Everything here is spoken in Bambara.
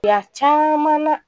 Fila caman na